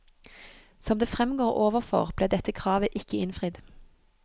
Som det fremgår overfor, ble dette kravet ikke innfridd.